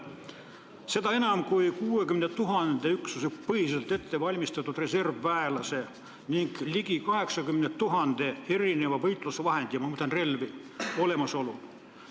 Ja seda enam kui 60 000 üksusepõhiselt ettevalmistatud reservväelase ning ligi 80 000 erineva võitlusvahendi – ma mõtlen relvi – olemasolul.